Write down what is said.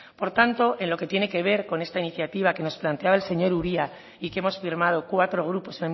por tanto en lo que tiene que ver con esta iniciativa que nos plantea el señor uria y que hemos firmado cuatro grupos